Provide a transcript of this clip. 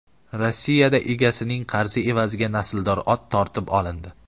Rossiyada egasining qarzi evaziga nasldor ot tortib olindi.